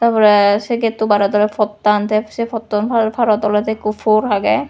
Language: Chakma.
tar pore sey gate to bared ole pottan tay sey pottan paro parot olode ikko por agey.